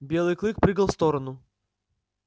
белый клык прыгал в сторону